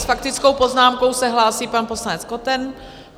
S faktickou poznámkou se hlásí pan poslanec Koten.